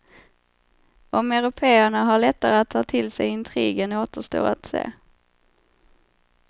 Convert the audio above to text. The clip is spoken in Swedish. Om européerna har lättare att ta till sig intrigen återstår att se.